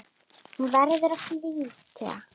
Hún verður að flytja.